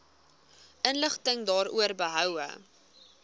inligting daaroor behoue